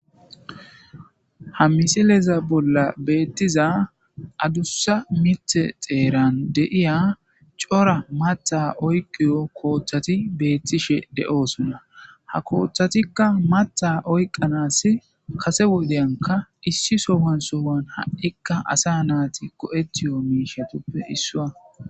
Ha misileza bolla beettiza adussa mite xeeran deiya cora mata oyqiyo kooththati beettishe de'oosunna ha kooththatikka mata oyqanas kase wodeyanka issi sowansowan ha7ikka asa naati ko7etiyo miishatuppe issuwa.